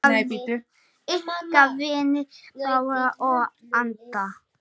Ykkar vinir Bára og Alda.